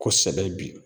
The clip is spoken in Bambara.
Kosɛbɛ bi